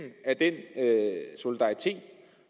af den solidaritet